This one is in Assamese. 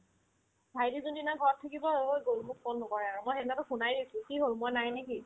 ভাইটি যোনদিনা ঘৰত থাকিব অ গ'ল মোক ফোন নকৰে আৰু মই সেইদিনাতো শুনাই পাইছো কি হ'ল মই নাই নেকি ?